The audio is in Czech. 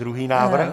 Druhý návrh.